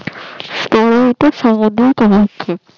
এরা এটা সমুদ্র সম্মুখে